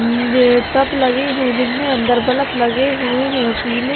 ये टप लगे हैं जिनमें अंदर बलप लगे हुए हैं ये पीले --